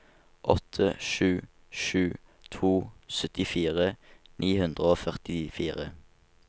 åtte sju sju to syttifire ni hundre og førtifire